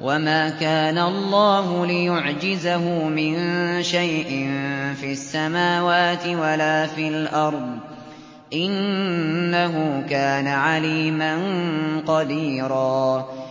وَمَا كَانَ اللَّهُ لِيُعْجِزَهُ مِن شَيْءٍ فِي السَّمَاوَاتِ وَلَا فِي الْأَرْضِ ۚ إِنَّهُ كَانَ عَلِيمًا قَدِيرًا